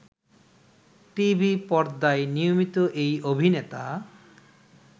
টিভিপর্দায় নিয়মিত এই অভিনেতা